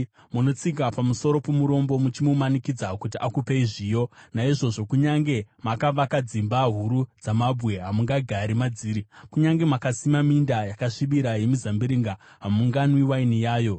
Munotsika pamusoro pomurombo muchimumanikidza kuti akupei zviyo. Naizvozvo, kunyange makavaka dzimba huru dzamabwe, hamungagari madziri; kunyange makasima minda yakasvibira yemizambiringa, hamunganwi waini yayo.